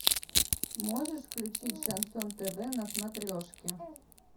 можешь включить шансон тв на смотрешке